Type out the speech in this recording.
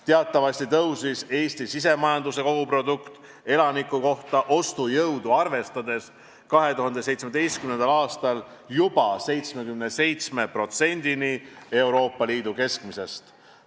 Teatavasti tõusis Eesti sisemajanduse kogutoodang elaniku kohta ostujõudu arvestades 2017. aastal juba 77%-ni Euroopa Liidu keskmisest.